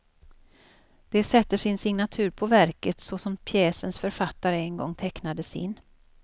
De sätter sin signatur på verket, såsom pjäsens författare en gång tecknade sin.